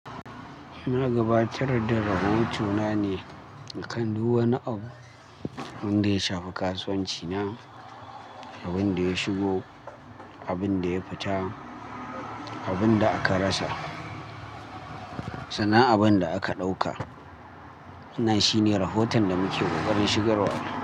Na gabatar da rahotona ne akan duk wani abu wanda ya shafi kasuwanci na, abin da ya shigo, abin da ya fita, abin da aka rasa, sannan abun da aka ɗauka. Nana shine rahoton da muke ƙoƙarin shigarwa.